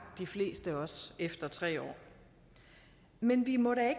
de fleste også efter tre år men vi må da